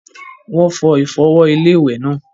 Wọ́n fọ ìfọ̀wọ̀-iléwẹ̀ náà.